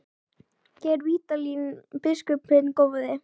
Geir Vídalín biskup hinn góði.